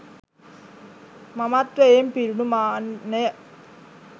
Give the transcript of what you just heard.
මමත්වයෙන් පිරුණු මාන්නය